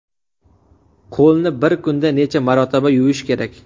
Qo‘lni bir kunda necha marotaba yuvish kerak?.